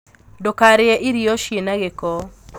Ndūkarīe irio cina gīko.